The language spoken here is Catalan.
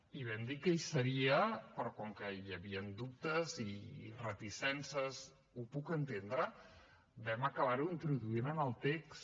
i vam dir que hi seria però com que hi havien dubtes i reticències ho puc entendre ho vam acabar introduint en el text